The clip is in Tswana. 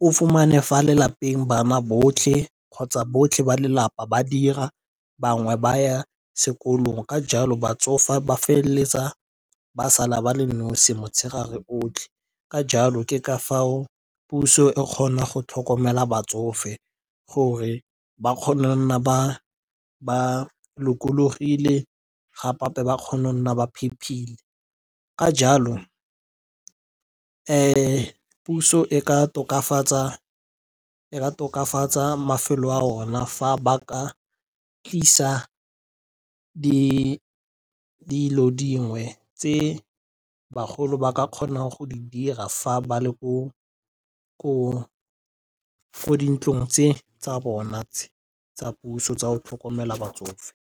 o fumane fa lelapeng bana botlhe kgotsa botlhe ba lelapa ba dira bangwe ba ya sekolong ka jalo batsofe ba feleletsa ba sala ba le nosi motshegare otlhe. Ka jalo ke ka foo puso e kgona go tlhokomela batsofe gore ba kgone go nna ba lokologile gape-gape ba kgone go nna ba phephile ka jalo puso e ka tokafatsa mafelo a yone fa ba ka tlisa dilo dingwe tse bagolo ba ka kgonang go di dira fa ba le ko di ntlong tse tsa bona tse tsa puso tsa go tlhokomela batsofe.